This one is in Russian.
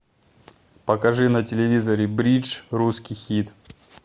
покажи на телевизоре бридж русский хит